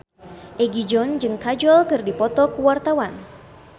Egi John jeung Kajol keur dipoto ku wartawan